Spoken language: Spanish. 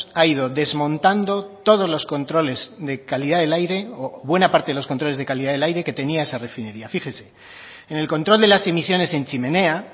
ha ido desmontando todos los controles de calidad del aire o buena parte de los controles de calidad del aire que tenía esa refinería fíjese en el control de las emisiones en chimenea